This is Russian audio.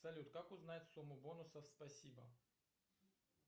салют как узнать сумму бонусов спасибо